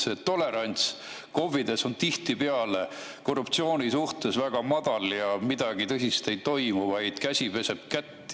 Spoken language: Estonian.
KOV‑ides on tihtipeale tolerants korruptsiooni suhtes väga ja midagi tõsist ei toimu, vaid käsi peseb kätt.